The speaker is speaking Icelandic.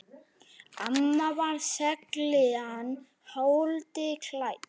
Amma var seiglan holdi klædd.